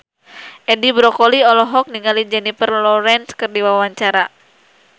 Edi Brokoli olohok ningali Jennifer Lawrence keur diwawancara